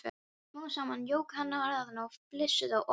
Smám saman jók hann hraðann og þau flissuðu og hlógu.